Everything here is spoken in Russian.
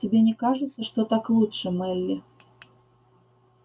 тебе не кажется что так лучше мелли